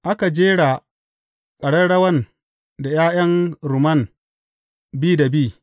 Aka jera ƙararrawan da ’ya’yan rumman bi da bi.